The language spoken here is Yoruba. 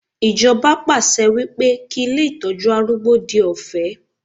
Ijoba pàṣẹ wípé kí ilé Ìtọ́jú arúgbó di ọ̀fẹ́.